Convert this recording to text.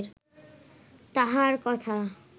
তাঁহার কথা